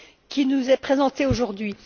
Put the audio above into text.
qui nous est présenté aujourd'hui.